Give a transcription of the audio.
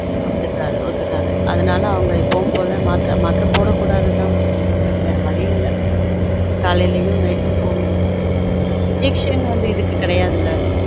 ஒத்துகாது ஒத்துகாது அதுனால அவங்க எப்பவும் போல மாத்திரை மாத்திரை போட கூடாது தான் முத்து செல்வி but வேற வழி இல்ல காலைலயும் night உம் போடனும் injection வந்து இதுக்கு கெடயாதுல